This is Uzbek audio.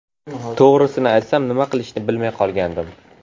To‘g‘risini aytsam, nima qilishni bilmay qolgandim.